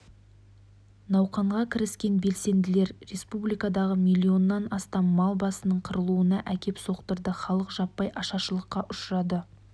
науқанға кіріскен белсенділер республикадағы миллионнан астам мал басының қырылуына әкеп соқтырды халық жаппай ашаршылыққа ұшырады